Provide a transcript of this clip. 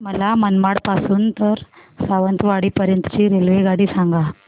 मला मनमाड पासून तर सावंतवाडी पर्यंत ची रेल्वेगाडी सांगा